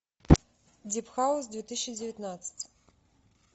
дип хаус две тысячи девятнадцать